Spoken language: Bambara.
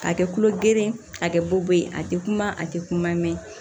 K'a kɛ kulo geren ye a kɛ bu ye a tɛ kuma a te kuma mɛn